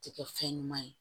Tɛ kɛ fɛn ɲuman ye